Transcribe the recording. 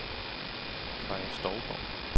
Kaja Stougaard